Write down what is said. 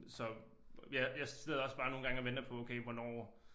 Så ja jeg sidder også bare nogle gange bare og venter på okay hvornår